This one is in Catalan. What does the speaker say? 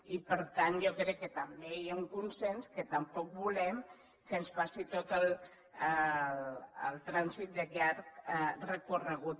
i per tant jo crec que també hi ha un consens que tampoc volem que ens passi tot el trànsit de llarg recorregut